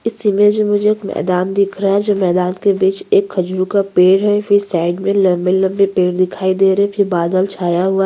इस इमेज मैं मुझे एक मैदान दिख रहा है जो मैदान के बीच एक खजूर का पेड़ फिर साइड मैं लम्बे-लम्बे पेड़ दिखाई दे रहे है फिर बादल छाया हुआ है।